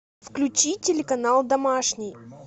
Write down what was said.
включи телеканал домашний